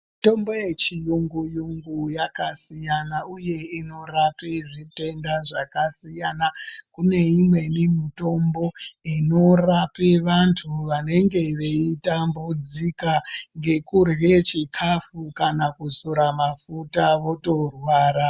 Mitombo yechiyungu yungu yakasiyana uye inorapa zvitenda zvakasiyana imweni mitombo inorape vantu vanenge veitambudzika ngekurya chikafu kana kuzora mafuta votorwara .